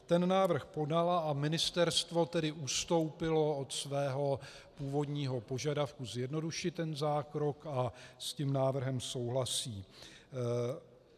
Ten návrh podala, a ministerstvo tedy ustoupilo od svého původního požadavku zjednodušit ten zákrok a s tím návrhem souhlasí.